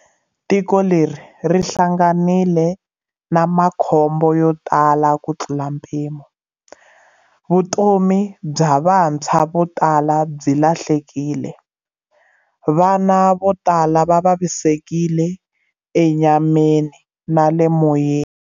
Tiko leri ri hlanganile na makhombo yo tala kutlula mpimo. Vutomi bya vantshwa vo tala byi lahlekile, vana vo tala va vavisekile enyameni na le moyeni.